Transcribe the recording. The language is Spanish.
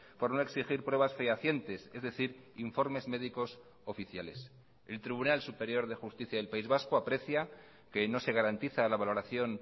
por no exigir pruebas fehacientes es decir informes médicos oficiales el tribunal superior de justicia del país vasco aprecia que no se garantiza la valoración